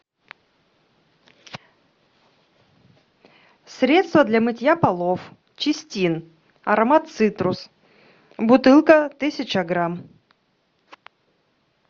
средство для мытья полов чистин аромат цитрус бутылка тысяча грамм